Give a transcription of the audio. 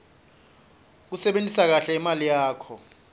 kusebentisa kahle imali yakho